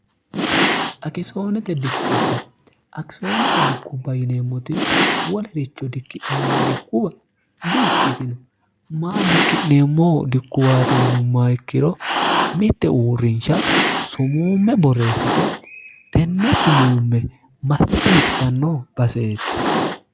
akisoonete dikkua akisoonete dikkubba yineemmoti wolericho dikki'neemmo dikkuwa di ikkitino ma dikki'neemmo dikkuwaati yinumma ikkiro mitte uurrinsha sumuumme borreessite tenne sumuumme massite hirtanno baseeti